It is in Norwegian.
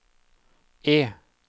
E